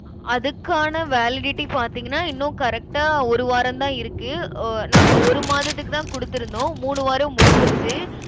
அதுக்கான validity பார்த்தீங்கன்னா இன்னும் correct ஆ ஒரு வாரம்தான் இருக்கு. அஹ் நாங்க ஒரு மாதத்துக்குதான் கொடுத்திருந்தோம். மூணு வாரம் முடிஞ்சிருச்சு.